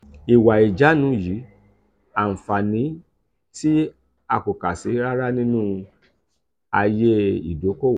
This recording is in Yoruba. iwa ijanu yi anfani ti akokasi rara ninu aye idokowo.